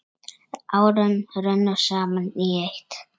Árin runnu saman í eitt.